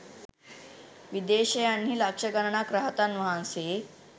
විදේශයන්හි ලක්‍ෂ ගණනක් රහතන් වහන්සේ